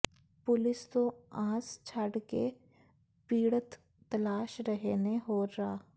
police ਤੋਂ ਆਸ ਛੱਡ ਕੇ ਪੀਡ਼ਤ ਤਲਾਸ਼ ਰਹੇ ਨੇ ਹੋਰ ਰਾਹ